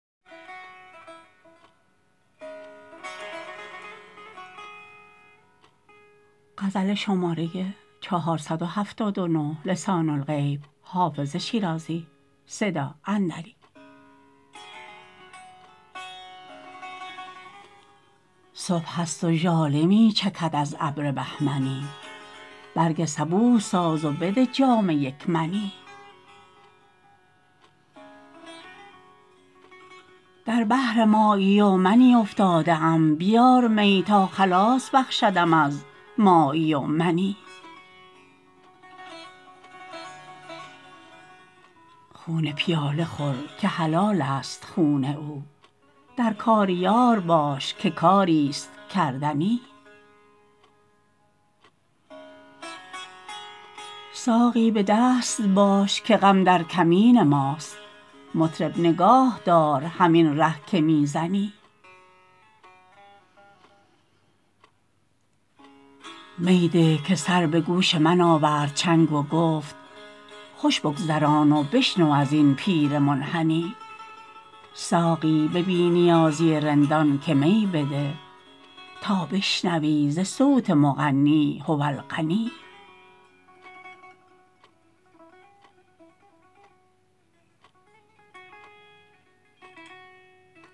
صبح است و ژاله می چکد از ابر بهمنی برگ صبوح ساز و بده جام یک منی در بحر مایی و منی افتاده ام بیار می تا خلاص بخشدم از مایی و منی خون پیاله خور که حلال است خون او در کار یار باش که کاری ست کردنی ساقی به دست باش که غم در کمین ماست مطرب نگاه دار همین ره که می زنی می ده که سر به گوش من آورد چنگ و گفت خوش بگذران و بشنو از این پیر منحنی ساقی به بی نیازی رندان که می بده تا بشنوی ز صوت مغنی هو الغنی